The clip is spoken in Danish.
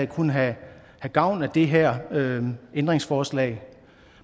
kunne have gavn af det her ændringsforslag